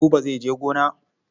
Buba zai je gona.